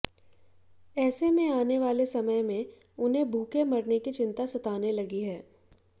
ऐसे में आने वाले समय में उन्हें भूखे मरने की चिंता सताने लगी है